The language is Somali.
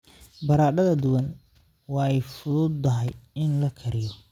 Baradhada duban waa ay fududahay in la kariyo.